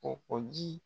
O o ji